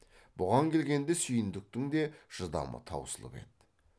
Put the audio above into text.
бұған келгенде сүйіндіктің де шыдамы таусылып еді